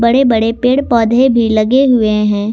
बड़े बड़े पेड़ पौधे भी लगे हुए हैं।